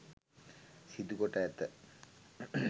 සිදුකොට ඇත.